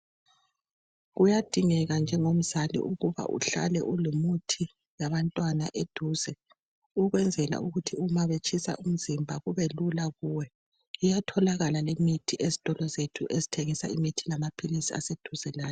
Kuyadingeka njengomzali ukuba uhlale ulomuthi labantwana eduze ukwenzela ukuthi nxa betshisa umzimba kube lula kuwe. Iyatholakala lemithi ezitolo zethu zokuthengisa imithi lamaphilisi aseduze lani.